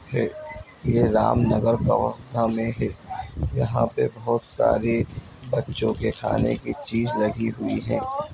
हे ये राम नगर कवर्धा में हे यहाँ पे बहोत सारी बच्चों के खाने की चीज़ लगी हुई है।